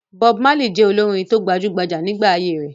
Bob Marley jẹ́ olórin tó gbajú-gbajà nígbà ayé rẹ̀.